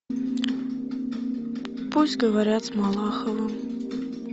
пусть говорят с малаховым